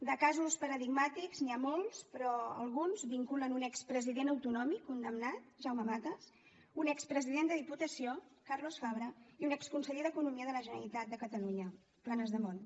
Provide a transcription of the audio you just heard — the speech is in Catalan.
de casos paradigmàtics n’hi ha molts però alguns vinculen un expresident autonòmic condemnat jaume matas un expresident de diputació carlos fabra i un exconseller d’economia de la generalitat de catalunya planasdemunt